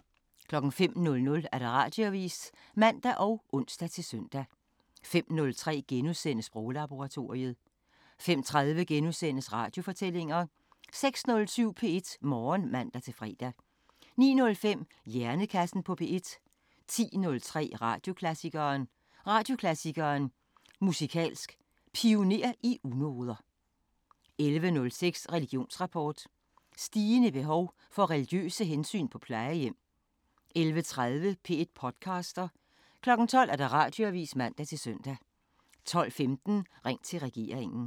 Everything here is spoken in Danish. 05:00: Radioavisen (man og ons-søn) 05:03: Sproglaboratoriet * 05:30: Radiofortællinger * 06:07: P1 Morgen (man-fre) 09:05: Hjernekassen på P1 10:03: Radioklassikeren: Radioklassikeren: Musikalsk Pioner i unoder 11:06: Religionsrapport: Stigende behov for religiøse hensyn på plejehjem 11:30: P1 podcaster 12:00: Radioavisen (man-søn) 12:15: Ring til regeringen